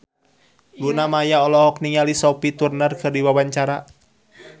Luna Maya olohok ningali Sophie Turner keur diwawancara